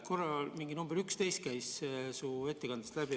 Korra käis mingi number 11 su ettekandest läbi.